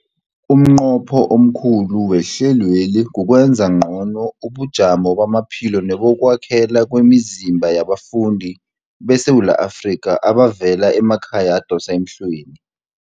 Umnqopho omkhulu wehlelweli kukwenza ngcono ubujamo bamaphilo nebokwakhela kwemizimba yabafundi beSewula Afrika abavela emakhaya adosa emhlweni.